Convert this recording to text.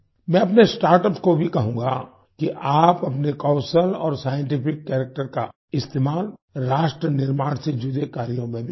मैं अपने स्टार्टअप्स को भी कहूँगा कि आप अपने कौशल और साइंटिफिक कैरेक्टर का इस्तेमाल राष्ट्र निर्माण से जुड़े कार्यों में भी करें